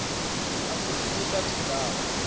atfutfukisa tindzawo